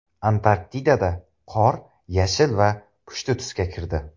Antarktidada qor yashil va pushti tusga kirdi .